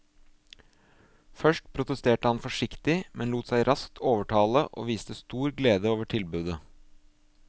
Først protesterte han forsiktig, men lot seg raskt overtale og viste stor glede over tilbudet.